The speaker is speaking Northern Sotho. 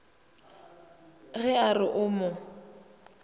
ge a re o mo